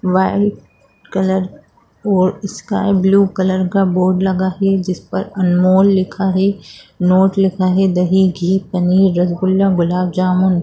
white colour और sky blue colour का board लगा है जिस पर अनमोल लिखा है नोट लिखा है दही घी पनीर रसगुल्ला गुलाब जामुन--